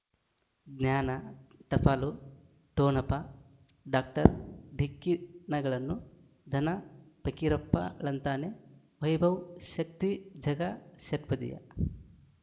ಜ್ಞಾನ ಟಪಾಲು ಠೊಣಪ ಡಾಕ್ಟರ್ ಢಿಕ್ಕಿ ಣಗಳನು ಧನ ಫಕೀರಪ್ಪ ಳಂತಾನೆ ವೈಭವ್ ಶಕ್ತಿ ಝಗಾ ಷಟ್ಪದಿ